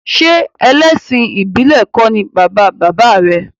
Ṣé ẹlẹ́sìn ìbílẹ̀ kọ́ ni bàba bàbá rẹ̀?